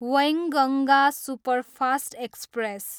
Wainganga superfast express